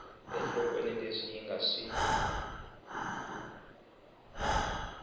enhlokweni leswi yi nga swi